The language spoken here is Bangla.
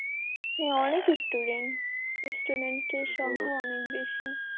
হ্যাঁ অনেক student student এর সংখ্যা অনেক বেশি।